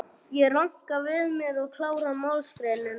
Ég ranka við mér og klára málsgreinina.